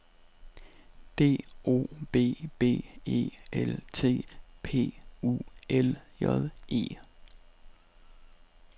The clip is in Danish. D O B B E L T P U L J E